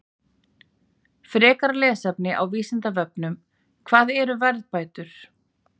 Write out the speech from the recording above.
Frekara lesefni á Vísindavefnum: Hvað eru verðbætur?